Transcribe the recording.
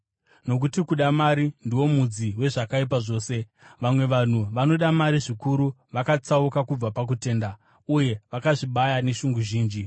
Nokuti kuda mari ndiwo mudzi wezvakaipa zvose. Vamwe vanhu vanoda mari zvikuru, vakatsauka kubva pakutenda uye vakazvibaya neshungu zhinji.